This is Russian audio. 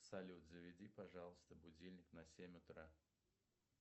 салют заведи пожалуйста будильник на семь утра